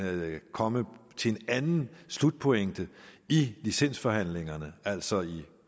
komme til en anden slutpointe i licensforhandlingerne altså i